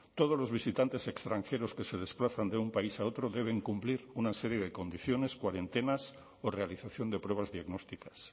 todos los visitantes extranjeros que se desplazan de un país a otro deben cumplir una serie de condiciones cuarentenas o realización de pruebas diagnósticas